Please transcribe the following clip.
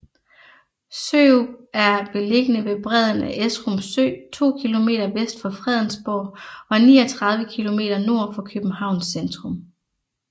Sørup er beliggende ved bredden af Esrum Sø to kilometer vest for Fredensborg og 39 kilometer nord for Københavns centrum